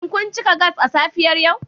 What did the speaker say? Shin kun cika gas a safiyar yau?